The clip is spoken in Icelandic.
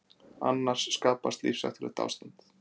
Annars skapast lífshættulegt ástand.